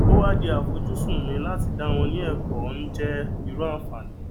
ó wá di àfojúsùn mi láti dá won ní èkó ní je irú ànfààní